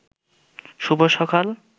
শুভ সকাল